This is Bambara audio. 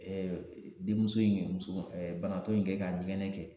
Ɛ denmuso in kɛ musoba ɛ banabaatɔ in kɛ ka ɲɛgɛnɛ kɛ